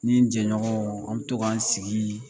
N nin jɛɲɔgɔnw an bɛ to ka sigi